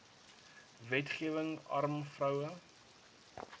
wetgewing arm vroue